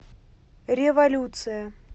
революция